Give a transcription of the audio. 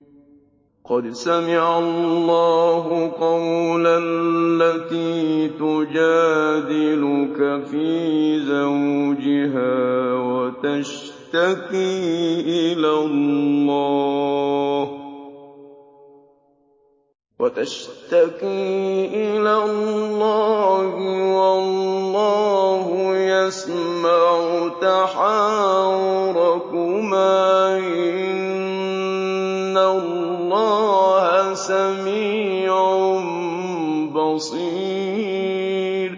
قَدْ سَمِعَ اللَّهُ قَوْلَ الَّتِي تُجَادِلُكَ فِي زَوْجِهَا وَتَشْتَكِي إِلَى اللَّهِ وَاللَّهُ يَسْمَعُ تَحَاوُرَكُمَا ۚ إِنَّ اللَّهَ سَمِيعٌ بَصِيرٌ